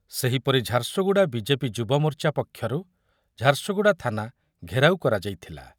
ସେହିପରି ଝାରସୁଗୁଡ଼ା ବିଜେପି ଯୁବମୋର୍ଚ୍ଚା ପକ୍ଷରୁ ଝାରସୁଗୁଡ଼ା ଥାନା ଘେରାଉ କରାଯାଇଥିଲା ।